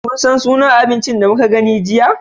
Ka san sunan abinci da muka gani jiya?